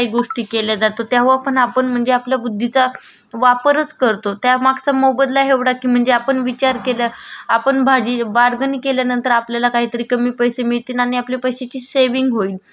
आपण भाजी बारगणी केल्या नंतर आपल्याला काही तरी कमी पैसे मिळते आणि आपले पैसेची सेविंग होईल. हा इंटेन्शन असा असतो. त त्या त्या वेडी आपण विचार करतो . ते सुद्धा बौद्धिक श्रम मध्ये मोडलं जात.